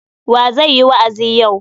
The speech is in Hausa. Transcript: Wa zai yi wa'azi yau?